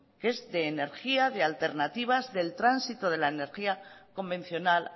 que es de energía de alternativas del tránsito de la energía convencional